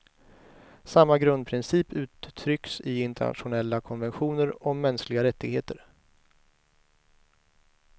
Samma grundprincip uttrycks i internationella konventioner om mänskliga rättigheter.